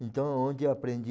Então, onde aprendi...